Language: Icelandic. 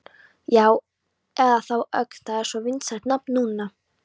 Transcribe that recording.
Já, eða þá Ögn, það er svo vinsælt nafn núna.